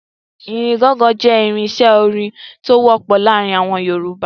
Ìlú gọ́ngọn jẹ́ irinṣẹ́ orin tó wọ́pọ̀ láàárin àwọn Yorùbá.